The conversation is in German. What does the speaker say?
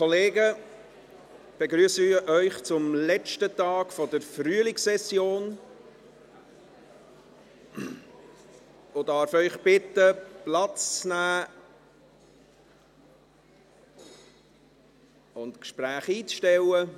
Ich begrüsse Sie zum letzten Tag der Frühlingssession und darf Sie bitten, Platz zu nehmen und die Gespräche einzustellen.